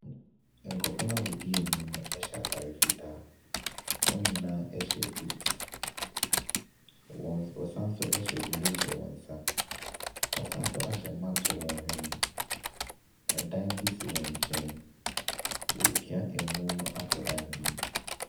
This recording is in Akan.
Nkurɔfoɔ no a wɔdi anim no hyɛ ataare fitaa. Wɔn nyinaa hyɛ booth, wɔsan nso hyɛ gloves for wɔn nsa, wɔsan nso hyɛ mask for wɔn hwene. ℇdan bi si wɔn nkyɛn, wɔrepia amu no akɔ dan bi mu.